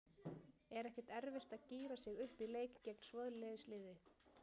Er ekkert erfitt að gíra sig upp í leik gegn svoleiðis liði?